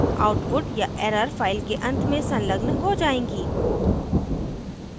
output या error file के अंत में संलग्न हो जायेंगी